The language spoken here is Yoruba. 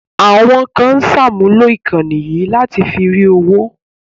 Àwọn kan ń sàmúlò ìkànnì yìí láti fi rí owó